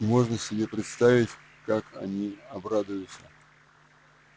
можно себе представить как они обрадуются